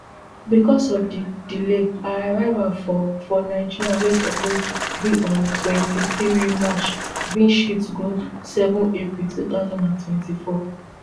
becos of di delay her arrival for for nigeria wey suppose be on di twenty-three march bin shift go seven april two thousand and twenty-four